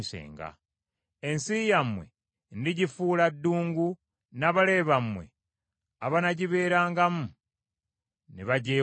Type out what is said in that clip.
Ensi yammwe ndigifuula ddungu n’abalabe bammwe abanaagibeerangamu ne bagyewuunya.